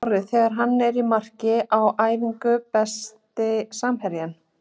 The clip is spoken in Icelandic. Orri þegar hann er í marki á æfingu Besti samherjinn?